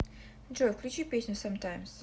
джой включи песню самтаймс